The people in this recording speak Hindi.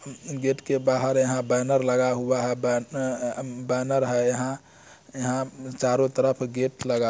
गेट के बाहर यहाँ बैनर लगा हुआ है बैन् अ बैनर है यहाँ यहाँ चारो तरफ गेट लगा--